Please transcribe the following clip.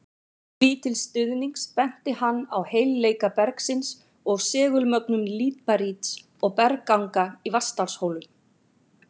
Því til stuðnings benti hann á heilleika bergsins og segulmögnun líparíts og bergganga í Vatnsdalshólum.